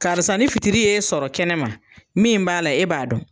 Karisa ni fitiri y'e sɔrɔ kɛnɛma, min b'a la e b'a dɔn.